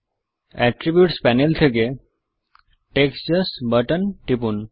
attributes panel থেকে text just button টিপুন